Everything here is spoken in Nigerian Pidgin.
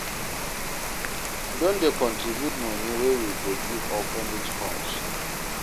We don dey contribute moni wey we go give orphanage homes.